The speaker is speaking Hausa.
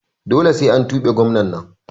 Dole sai an tuge gwanan nan